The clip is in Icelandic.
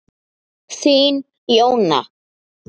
Þín Jóna.